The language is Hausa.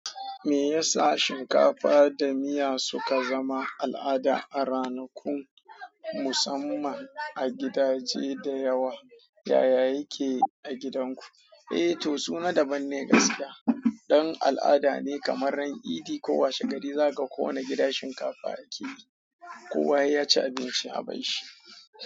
Me yasa shinkafa da miya suka zama al'ada a ranakun musamman a gidaje da yawa? Yaya yake a gidanku? Eh to, suna daban ne gaskiya. Don al'ada ne kamar ran idi ko washegari, zaka ga wane gida shinkafa yake yi, kowa ya ci abinci a ban shi.